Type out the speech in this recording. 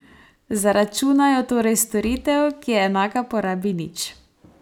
Zaračunajo torej storitev, ki je enaka porabi nič!